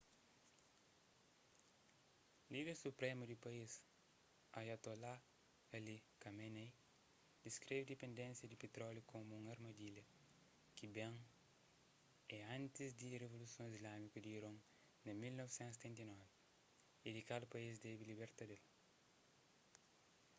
líder supremu di país ayatollah ali khamenei diskreve dipendénsia di pitróliu komu un armadilha ki ben é antis di rivoluson islamiku di iron na 1979 y di kal país debe liberta d-el